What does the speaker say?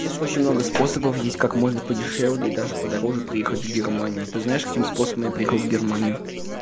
есть очень много способов есть как можно подешевле и даже подороже приехать в германию ты знаешь каким способом я приехал в германию